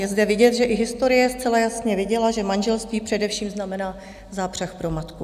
Je zde vidět, že i historie zcela jasně viděla, že manželství především znamená zápřah pro matku.